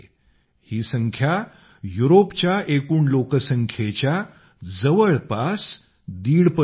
ही संख्या युरोपच्या एकूण लोकसंख्येच्या जवळपास दीडपट आहे